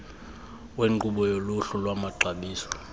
wenkqubo yoluhlu lwamaxabiso